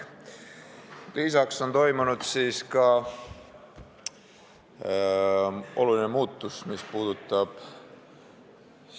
Lisaks on toimunud oluline muutus, mis puudutab ...